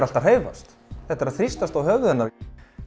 allt að hreyfast þetta er að þrýstast að höfði hennar